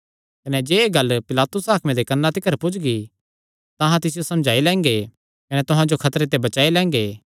कने जे एह़ गल्ल पिलातुस हाकमे दे कन्नां तिकर पुज्जगी तां अहां तिसियो समझाई लैंगे कने तुहां जो खतरे ते बचाई लैंगे